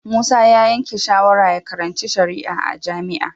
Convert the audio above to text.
Musa ya yanke shawarar ya karanci shari'a a jami'a